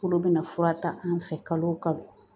Olu bɛna fura ta an fɛ kalo o kalo